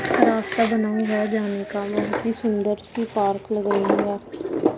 रास्ता बना हुआ जाने का बहुत ही सुंदर सी पार्क लग रही है।